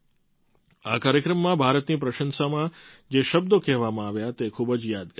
આ કાર્યક્રમમાં ભારતની પ્રશંસામાં જે શબ્દો કહેવામાં આવ્યા તે ખૂબ જ યાદગાર છે